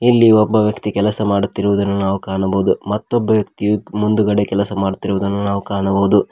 ಇಲ್ಲಿ ಒಬ್ಬ ವ್ಯಕ್ತಿ ಕೆಲಸ ಮಾಡುತ್ತಿರುವುದನ್ನು ನಾವು ಕಾಣಬಹುದು ಮತ್ತೊಬ್ಬ ವ್ಯಕ್ತಿ ಮುಂದುಗಡೆ ಕೆಲಸ ಮಾಡುತ್ತಿರುವುದನ್ನು ನಾವು ಕಾಣಬಹುದು.